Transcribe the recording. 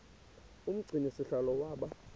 umgcini sihlalo waba